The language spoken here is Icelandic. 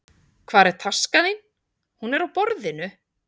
Hvar er taskan þín? Hún er á borðinu.